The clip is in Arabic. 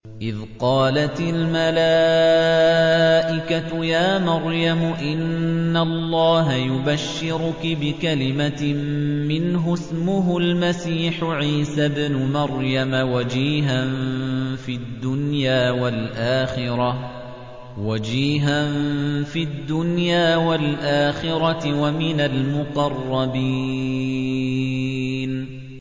إِذْ قَالَتِ الْمَلَائِكَةُ يَا مَرْيَمُ إِنَّ اللَّهَ يُبَشِّرُكِ بِكَلِمَةٍ مِّنْهُ اسْمُهُ الْمَسِيحُ عِيسَى ابْنُ مَرْيَمَ وَجِيهًا فِي الدُّنْيَا وَالْآخِرَةِ وَمِنَ الْمُقَرَّبِينَ